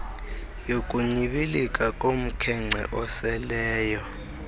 yokunyibilika komkhence oseleyo